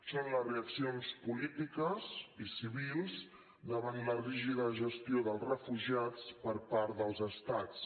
són les reaccions polítiques i civils davant la rígida gestió dels refugiats per part dels estats